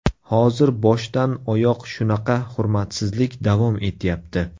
Hozir boshdan oyoq shunaqa hurmatsizlik davom etyapti.